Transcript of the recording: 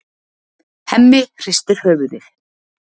Hemmi hristir höfuðið.